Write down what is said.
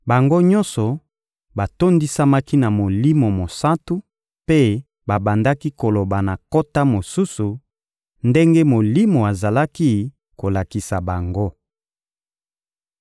Bango nyonso batondisamaki na Molimo Mosantu mpe babandaki koloba na nkota mosusu, ndenge Molimo azalaki kolakisa bango.